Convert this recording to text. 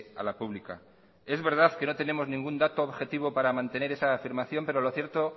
a la pública es verdad que no tenemos ningún dato objetivo para mantener esa afirmación pero lo cierto